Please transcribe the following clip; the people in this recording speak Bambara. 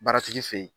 Baara tigi fɛ ye